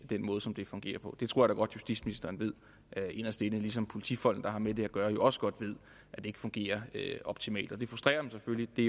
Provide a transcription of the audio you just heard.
den måde som det fungerer på det tror jeg da godt justitsministeren ved inderst inde ligesom politifolkene der har med det at gøre jo også godt ved at det ikke fungerer optimalt og det frustrerer dem selvfølgelig det